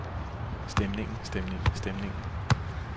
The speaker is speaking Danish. stemningen stemningen stemningen